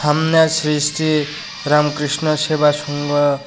সামনে শ্রী শ্রী রামকৃষ্ণ সেবা সংঘ।